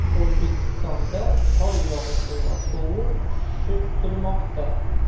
O‘zbekistonda qor yog‘ishi va sovuq tushishi kutilmoqda.